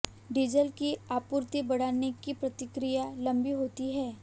diesel की आपूर्ति बढ़ाने की प्रक्रिया लंबी होती है